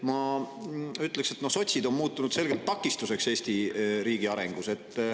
Ma ütleksin, et sotsid on muutunud selgelt takistuseks Eesti riigi arengus.